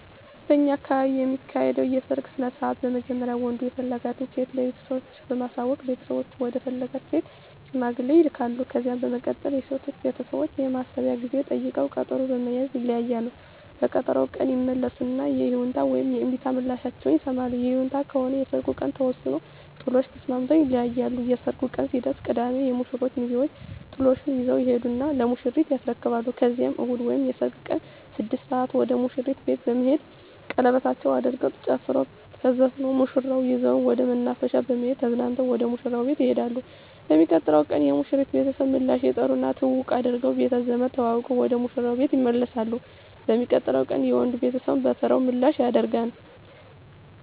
በእኛ አካባቢ የሚካሄደዉ የሰርግ ስነስርአት በመጀመሪያ ወንዱ የፈለጋትን ሴት ለቤተሰቦቹ በማሳወቅ ቤተሰቦቹ ወደ ፈለጋት ሴት ሽማግሌ ይላካል። ከዛ በመቀጠል የሴቶቹ ቤተሰቦች የማሰቢያ ጊዜ ጠይቀዉ ቀጠሮ በመያዝ ይለያያሉ። በቀጠሮዉ ቀን ይመለሱና የይሁንታ ወይም የእምቢታ ምላሻቸዉን ይሰማሉ። ይሁንታ ከሆነ የሰርጉ ቀን ተወስኖ ጥሎሹን ተስማምተዉ ይለያያሉ። የሰርጉ ቀን ሲደርስ ቅዳሜ የሙሽሮቹ ሚዜወች ጥሎሹን ይዘዉ ይሄዱና ለሙሽሪት ያስረክባሉ ከዛም እሁድ ወይም የሰርጉ ቀን 6 ሰአት ወደ ሙሽሪት ቤት በመሄድ ሸለበታቸዉን አድርገዉ ተጨፍሮ ተዘፍኖ ሙሽራዋን ይዘዉ ወደ መናፈሻ በመሄድ ተዝናንተዉ ወደ ሙሽራዉ ቤት ይሄዳሉ። በሚቀጥለዉ ቀን የሙሽሪት ቤተሰብ ምላሽ ይጠሩና ትዉዉቅ አድርገዉ ቤተዘመድ ተዋዉቀዉ ወደ ሙሽራዉ ቤት ይመለሳሉ። በሚቀጥለዉ ቀንም የወንዱ ቤተሰብ በተራዉ ምላሽ ያደ